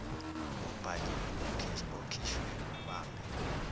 obhaliwe okhishwe ngobambe